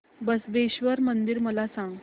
बसवेश्वर मंदिर मला सांग